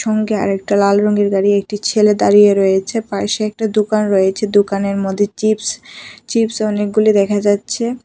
সঙ্গে আরেকটা লাল রঙের গাড়ি একটি ছেলে দাঁড়িয়ে রয়েছে পাশে একটা দুকান রয়েছে দুকানের মধ্যে চিপস চিপস অনেকগুলি দেখা যাচ্ছে।